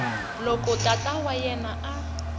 loko tata wa yena a